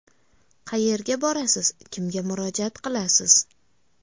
Qayerga borasiz, kimga murojaat qilasiz?